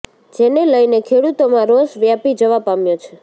જેને લઇને ખેડુતોમાં રોષ વ્યાપી જવા પામ્યો છે